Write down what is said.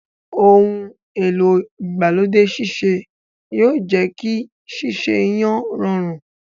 Ohun èlò igbalode sise yóò jẹ kí sese iyán rọrùn.